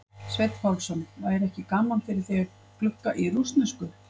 Sveinn Pálsson: væri ekki gaman fyrir þig að glugga í rússnesku?